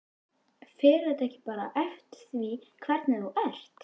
Fer þetta ekki bara eftir því hvernig þú ert?